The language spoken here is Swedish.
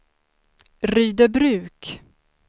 Rydöbruk